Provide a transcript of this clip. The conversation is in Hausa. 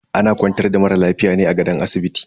Ana kwantar da mara lafiya ne a kan gadon asibiti.